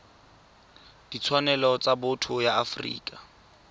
ditshwanelo tsa botho ya afrika